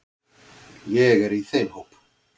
Ég er í þeim hóp.